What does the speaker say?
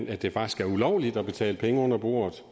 at det faktisk er ulovligt at betale penge under bordet